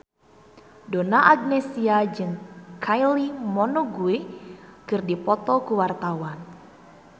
Donna Agnesia jeung Kylie Minogue keur dipoto ku wartawan